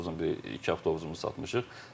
Avtobusun biri, iki avtobusumuzu satmışıq.